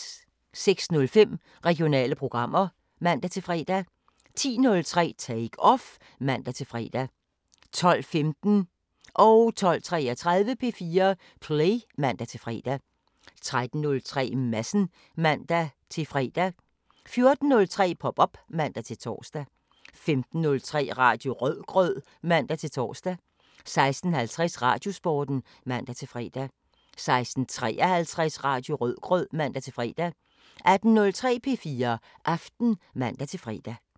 06:05: Regionale programmer (man-fre) 10:03: Take Off (man-fre) 12:15: P4 Play (man-fre) 12:33: P4 Play (man-fre) 13:03: Madsen (man-fre) 14:03: Pop op (man-tor) 15:03: Radio Rødgrød (man-tor) 16:50: Radiosporten (man-fre) 16:53: Radio Rødgrød (man-fre) 18:03: P4 Aften (man-fre)